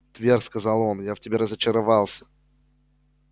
твер сказал он я в тебе разочаровался